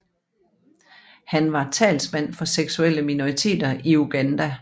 Han var talsmand for seksuelle minoriteter i Uganda